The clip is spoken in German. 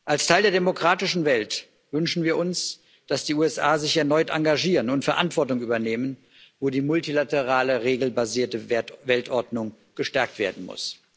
Als Teil der demokratischen Welt wünschen wir uns, dass die USA sich erneut engagieren und Verantwortung übernehmen, wo die multilaterale regelbasierte Weltordnung gestärkt werden muss.